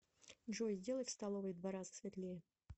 джой сделай в столовой в два раза светлее